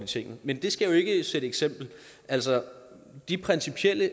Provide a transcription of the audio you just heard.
tinget men det skal jo ikke sætte eksempel altså de principielle